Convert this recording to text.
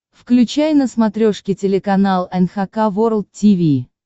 включай на смотрешке телеканал эн эйч кей волд ти ви